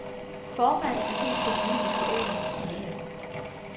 Formanden er helt på linie med foreningens medlemmer.